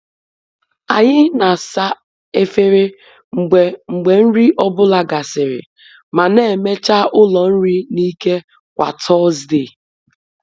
Anyị na-asa efere mgbe mgbe nri ọ bụla gasịrị, ma na-emecha ụlọ nri n’ike kwa Tọzdee.